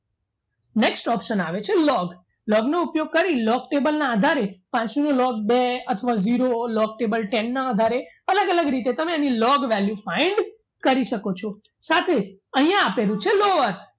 Next option આવે છે log log નો ઉપયોગ કરી log table ના આધારે પાંચમો log બે અથવા zero table ten ના આધારે અલગ અલગ રીતે તમે એને log value find કરી શકો છો સાથે અહીંયા આપેલું છે lower